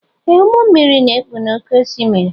Ee ụgbọ mmiri na ekpu n'ókè osimiri.